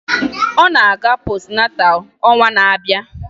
Ọ ga-aga postunátál ọnwa na-abịa